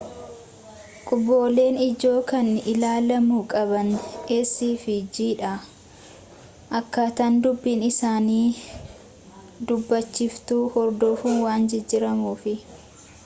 qubeelen ijoo kan ilaalamu qaban c fi g dha akkaataan dubbiin isaanii dubbachiiftuu hordofuun waan jijjiramuufi